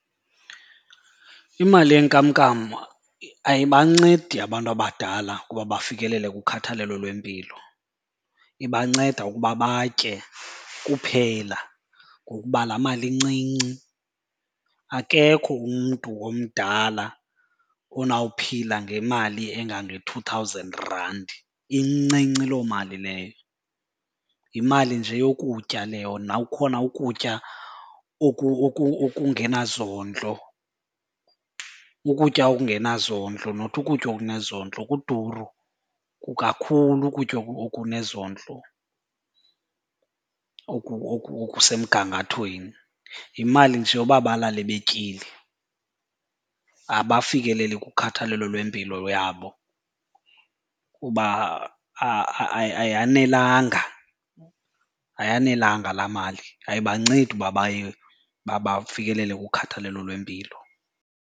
Imali yenkamnkam ayibancedi abantu abadala ukuba bafikelele kukhathalelo lwempilo, iibanceda ukuba batye kuphela ngokuba laa mali incinci. Akekho umntu omdala onawuphila ngemali engange-two thousand rand, incinci loo mali leyo. Yimali nje yokutya leyo nawukhona ukutya okungenazondlo, ukutya okungenazondlo not ukutya okunezondlo. Kuduru kakhulu ukutya okunezondlo okusemgangathweni, yimali nje yoba balale betyile. Abafikeleli kukhathalelo lwempilo yabo kuba ayanelanga ayanelanga laa mali, ayibancedi uba baye bafikelele kukhathalelo lwempilo.